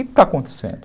O que está acontecendo?